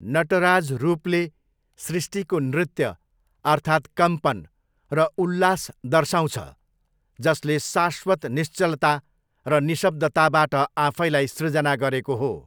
नटराज रूपले सृष्टिको नृत्य अर्थात् कम्पन र उल्लास दर्शाउँछ जसले शाश्वत निश्चलता र निःशब्दताबाट आफैँलाई सृजना गरेको हो।